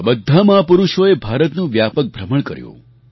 આ બધા મહાપુરુષોએ ભારતનું વ્યાપક ભ્રમણ કર્યું